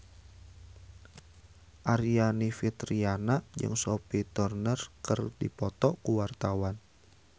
Aryani Fitriana jeung Sophie Turner keur dipoto ku wartawan